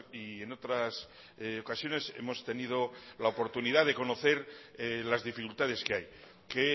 y en otras ocasiones hemos tenido la oportunidad de conocer las dificultades que hay que